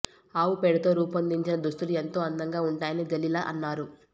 ఆవు పేడతో రూపొందించిన దుస్తులు ఎంతో అందంగా ఉంటాయని జలిలా అన్నారు